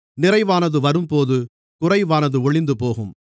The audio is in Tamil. நிறைவானது வரும்போது குறைவானது ஒழிந்துபோகும்